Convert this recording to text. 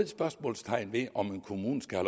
spørgsmålstegn ved om en kommune skal